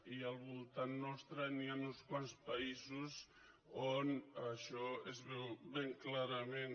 i al voltant nostre hi han uns quants països on això es veu ben clarament